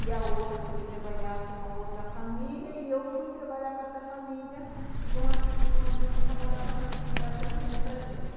E a outra foi trabalhar com a outra família, e eu fui trabalhar com essa família, uhum, que uma prima minha que já morava nessa cidade arrumou para gente.